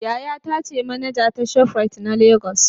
yayata ce manaja ta shoprite na Lagos.